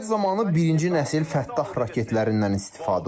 Əməliyyat zamanı birinci nəsil Fəttah raketlərindən istifadə olunub.